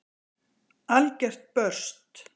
Algert burst!